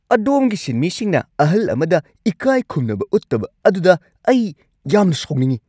ꯑꯗꯣꯝꯒꯤ ꯁꯤꯟꯃꯤꯁꯤꯡꯅ ꯑꯍꯜ ꯑꯃꯗ ꯏꯀꯥꯏꯈꯨꯝꯅꯕ ꯎꯠꯇꯕ ꯑꯗꯨꯗ ꯑꯩ ꯌꯥꯝ ꯁꯥꯎꯅꯤꯡꯉꯤ꯫